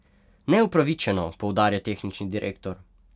Neupravičeno, poudarja tehnični direktor.